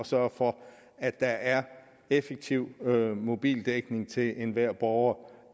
sørge for at der er effektiv mobildækning til enhver borger